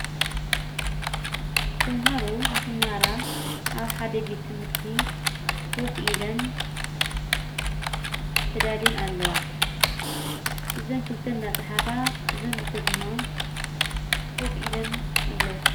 ቶምሃሮ ንኽማሃራ ኣብ ሓደቤት ትምህርቲ ዎፍ ኢለን ተዳሌን ኣለዋ ዘንክልተ እናጸሓፋ ዘንግልተ ድማ ኮፍ ኢለን ኣለዋ።